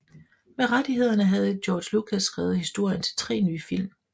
Med rettighederne havde George Lucas skrevet historien til tre nye film